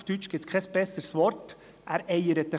Auf Deutsch gibt es kein besseres Wort dafür.